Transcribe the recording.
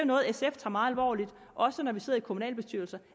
noget sf tager meget alvorligt også når vi sidder i kommunalbestyrelser